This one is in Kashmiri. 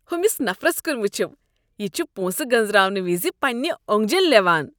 ہُمِس نفرس كُن وٕچھِو۔ یہِ چھ پونٛسہٕ گنزراونہٕ وز پنٕنہِ اوٚنٛگجن لیوان۔